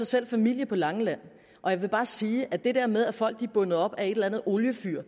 selv familie på langeland og jeg vil bare sige at det der med at folk er bundet op af et eller andet oliefyr